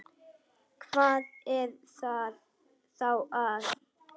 Hvað er þá að?